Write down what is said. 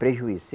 Prejuízo.